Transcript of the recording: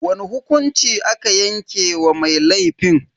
Wani hukunci aka yanke wa mai laifin?